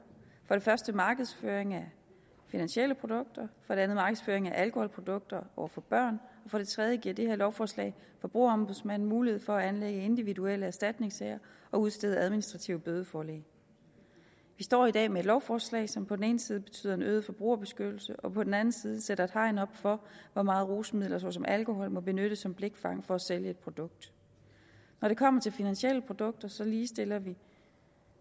det første markedsføring af finansielle produkter for det andet markedsføring af alkoholprodukter over for børn og for det tredje giver det her lovforslag forbrugerombudsmanden mulighed for at anlægge individuelle erstatningssager og udstede administrative bødeforlæg vi står i dag med et lovforslag som på den ene side betyder en øget forbrugerbeskyttelse og på den anden side sætter et hegn op for hvor meget rusmidler såsom alkohol må benyttes som blikfang for at sælge et produkt når det kommer til finansielle produkter så ligestiller vi